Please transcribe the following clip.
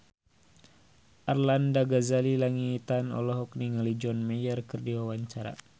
Arlanda Ghazali Langitan olohok ningali John Mayer keur diwawancara